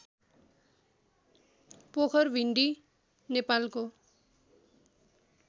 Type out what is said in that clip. पोखरभिण्डी नेपालको